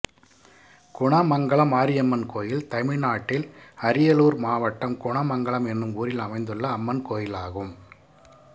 குணமங்கலம் மாரியம்மன் கோயில் தமிழ்நாட்டில் அரியலூர் மாவட்டம் குணமங்கலம் என்னும் ஊரில் அமைந்துள்ள அம்மன் கோயிலாகும்